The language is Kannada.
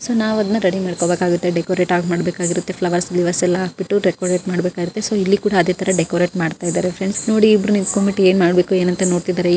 ಸೊ ನಾವು ಅದನ್ನ ರೆಡಿ ಮಾಡ್ಕೋಬೇಕಾಗುತ್ತೆ ಡೆಕೊರೆಟ್ ಮಾಡಬೇಕಾಗುತ್ತೆ ಫ್ಲವರ್ಸ್ ಗಿವರ್ಸ್ ಗಳನ್ನೇಲ್ಲ ಹಾಕಿಬಿಟ್ಟು ಡೆಕೋರಟ್ ಮಾಡಬೇಕಾಗುತ್ತೆ. ಸೊ ಇಲ್ಲಿ ಕೂಡ ಅದೇ ರೀತಿ ಡೆಕೋರಟ್ ಮಾಡ್ತಾಇದ್ದಾರೆ ಫ್ರೆಂಡ್ಸ್ ನೋಡಿ ಇಬ್ಬರು ನಿಂತಕೊಂಡು ಬಿಟ್ಟಿ ಏನ್ ಮಾಡಬೇಕು ಅಂತ ನೋಡ್ತಿದ್ದಾರೆ__